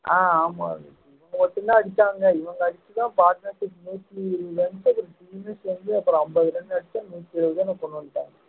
ஆஹ் ஆமா இவங்க மட்டும்தான் அடிச்சாங்க இவங்க அடிச்சுதான் நூத்தி இருவதுல இருந்து ஒரு தொண்ணூத்தி அஞ்சு இருந்து அப்பறம் அம்பது run அடிச்சா நூத்தி எழுபதோ என்னவோ கொண்டுவந்ட்டாங்க